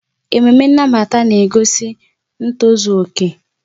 Ememe nnabata na-egosi ntozu okè.